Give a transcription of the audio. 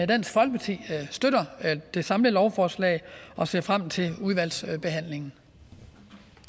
dansk folkeparti støtter det samlede lovforslag og ser frem til udvalgsbehandlingen